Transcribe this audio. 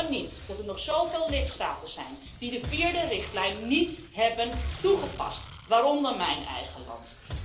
Het kan niet dat er nog zoveel lidstaten zijn die de vierde richtlijn niet hebben toegepast, waaronder mijn eigen land.